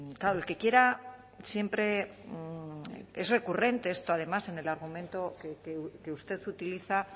claro el que quiera siempre es recurrente esto además en el argumento que usted utiliza